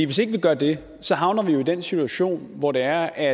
hvis ikke vi gør det havner vi jo i den situation hvor der